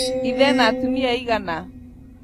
Ithe ena atumia aigana?